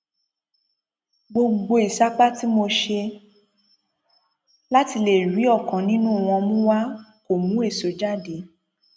gbogbo ìsapá tí mo ṣe láti lè rí ọkan nínú wọn mú wá kó mú èso jáde